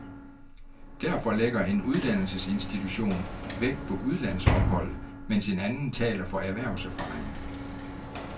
Derfor lægger en uddannelsesinstitution vægt på udlandsophold, mens en anden taler for erhvervserfaring.